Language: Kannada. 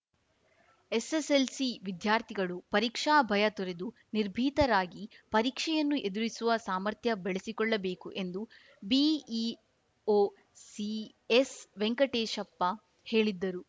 ಎಸ್ಸೆಸ್ಸೆಲ್ಸಿ ವಿದ್ಯಾರ್ಥಿಗಳು ಪರೀಕ್ಷಾ ಭಯ ತೊರೆದು ನಿರ್ಭೀತರಾಗಿ ಪರೀಕ್ಷೆಯನ್ನು ಎದುರಿಸುವ ಸಾಮರ್ಥ್ಯ ಬೆಳಿಸಿಕೊಳ್ಳಬೇಕು ಎಂದು ಬಿಇಒ ಸಿಎಸ್‌ವೆಂಕಟೇಶಪ್ಪ ಹೇಳಿದ್ದರು